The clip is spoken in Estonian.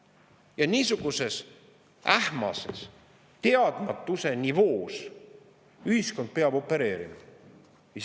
Ja niisuguses ähmases teadmatuse nivoos ühiskond peab opereerima!